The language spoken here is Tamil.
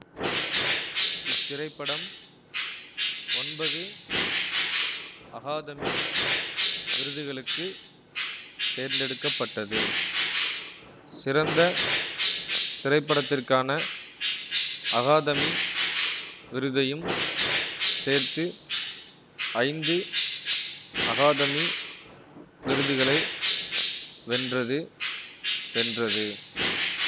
இத்திரைப்படம் ஒன்பது அகாதமி விருதுகளுக்கு தேர்ந்தெடுக்க பட்டது சிறந்த திரைப்படத்திற்கான அகாதமி விருதையும் சேர்த்து ஐந்து அகாதமி விருதுகளை வென்றது வென்றது